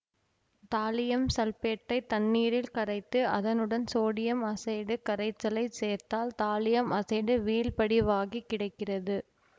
தாலியம்சல்பேட்டை தண்ணீரில் கரைத்து அதனுடன் சோடியம் அசைடு கரைச்சலைச் சேர்த்தால் தாலியம் அசைடு வீழ்படிவாகிக் கிடைக்கிறது